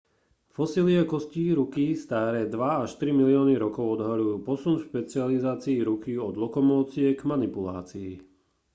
fosílie kostí ruky staré dva až tri milióny rokov odhaľujú posun v špecializácii ruky od lokomócie k manipulácii